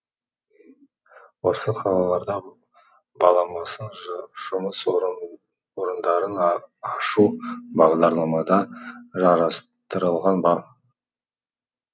осы қалаларда баламасын жұмыс орындарын ашу бағдарламада жарастырылған ба